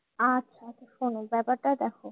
আচ্ছা শোনো ব্যাপারটা দেখো।